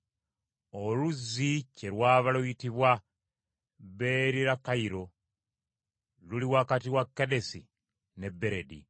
Oluzzi kye lwava luyitibwa Beerirakayiro, luli wakati wa Kadesi ne Beredi.